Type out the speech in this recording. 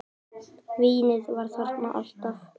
Vínið var þarna alltaf.